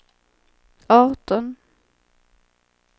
arton